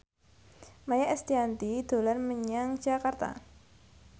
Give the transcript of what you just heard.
Maia Estianty dolan menyang Jakarta